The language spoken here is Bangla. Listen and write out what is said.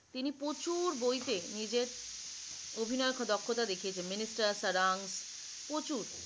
তিনি প্রচুর বইতে নিজের অভিনয় দক্ষতা দেখিয়েছেন minister sarang প্রচুর